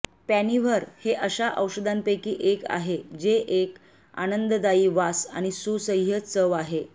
पॅनिव्हर हे अशा औषधांपैकी एक आहे जे एक आनंददायी वास आणि एक सुसह्य चव आहे